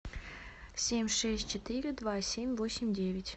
семь шесть четыре два семь восемь девять